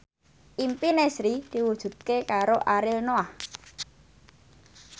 impine Sri diwujudke karo Ariel Noah